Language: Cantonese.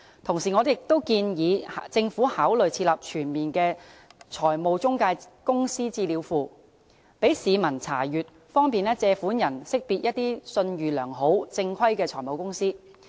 同時，我建議政府考慮設立全面的財務中介公司資料庫，供市民查閱，方便借款人識別信譽良好，正規的財務中介公司。